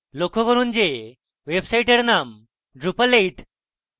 লক্ষ্য করুন যে ওয়েবসাইটের name drupal 8